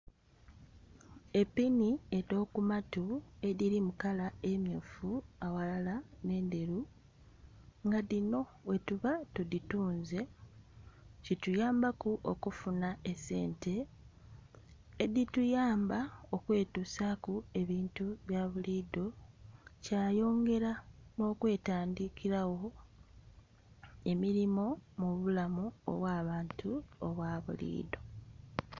Epini edho ku matu edhiri mu kala emyufu aghalala nhe endheru nga dhino bwetuba tu dhitunze kituyamba ku okufuna esente edhi tuyamba okwetusaku ebintu bya bulidho kyayongera nho kwetandhikiragho emirimo mu bulamu obwa bantu obwa bulidho.